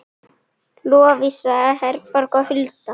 Lovísa Herborg og Hulda.